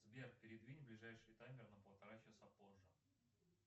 сбер передвинь ближайший таймер на полтора часа позже